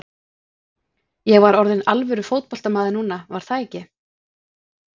Ég var orðinn alvöru fótboltamaður núna, var það ekki?